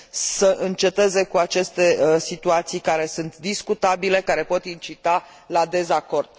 să înceteze cu aceste situații care sunt discutabile, care pot incita la dezacord.